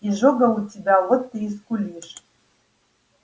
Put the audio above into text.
изжога у тебя вот ты и скулишь